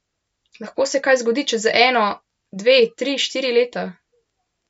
Lahko se kaj zgodi čez eno, dve, tri, štiri leta.